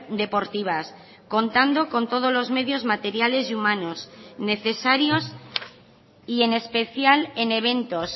deportivas contando con todos los medios materiales y humanos necesarios y en especial en eventos